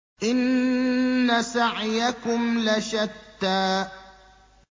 إِنَّ سَعْيَكُمْ لَشَتَّىٰ